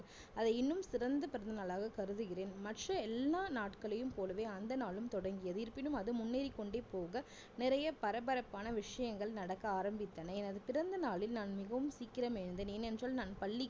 அதை இன்னும் சிறந்த பிறந்தநாளாக கருதுகிறேன் மற்ற எல்லா நாட்களையும் போலவே அந்த நாளும் தொடங்கியது இருப்பினும் அது முன்னேறிக்கொண்டே போக நிறைய பரபரப்பான விஷயங்கள் நடக்க ஆரம்பித்தன எனது பிறந்த நாளில் நான் மிகவும் சீக்கிரம் எழுந்தேன் ஏன் என்றால் நான் பள்ளிக்கு